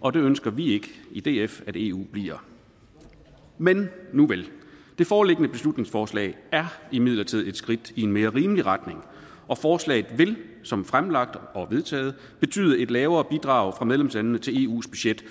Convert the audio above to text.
og det ønsker vi ikke i df at eu bliver men nuvel det foreliggende beslutningsforslag er imidlertid skridt i en mere rimelig retning og forslaget vil som fremlagt og vedtaget betyde et lavere bidrag fra medlemslandene til eus budget